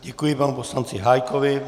Děkuji panu poslanci Hájkovi.